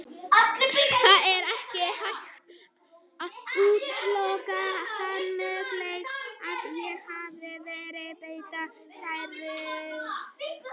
Það er ekki hægt að útiloka þann möguleika að ég hafi verið beitt særingum.